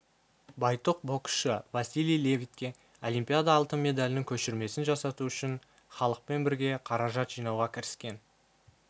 байтұқ боксшы василий левитке олимпиада алтын медалінің көшірмесін жасату үшін іалықпен бірге қаражат жинауға кіріскен